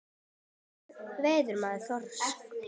Með hverju veiðir maður þorsk?